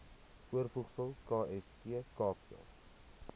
voorvoegsel kst kaapse